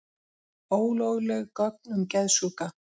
Ólögleg gögn um geðsjúka